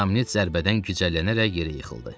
Samnit zərbədən gizcəllənərək yerə yıxıldı.